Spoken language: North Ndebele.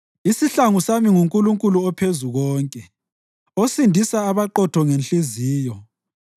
Isihlangu sami nguNkulunkulu oPhezukonke, osindisa abaqotho ngenhliziyo.